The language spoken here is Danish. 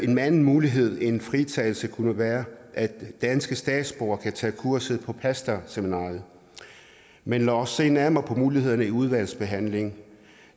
en anden mulighed end fritagelse kunne være at danske statsborgere kan tage kurset på pastoralseminariet men lad os se nærmere på mulighederne i udvalgsbehandlingen